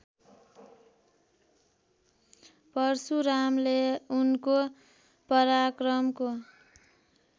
परशुरामले उनको पराक्रमको